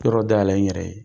Yɔrɔw da yɛlɛ n yɛrɛ ye.